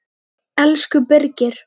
Elsku Birgir.